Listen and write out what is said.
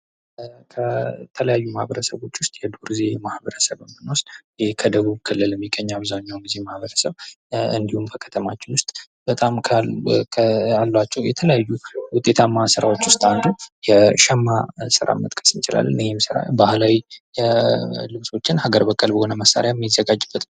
የተለያዩ ማህበረሰቦች ውስጥ የዶርዜ ማህበረሰብ ብንወስድ ይህ ከደቡብ ክልል የሚገኙ አብዛኛውን ጊዜ ማህበረሰቡ እንዲሁም በከተማችን ውስጥ ካሉ የተለያዩ ስራዎች ውስጥ አንዱ የሸማ ስራን መጥቀስ እንችላለን። ይህም ስራ ባህላዊ ልብሶችን ሀገር በቀል በሆነ መንገድ መሳሪያ የሚዘጋጅበት ነው።